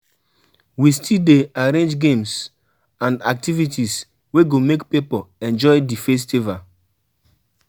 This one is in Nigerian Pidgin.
We still dey arrange games and activities wey go make pipo enjoy di festival.